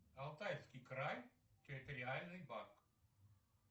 алтайский край территориальный банк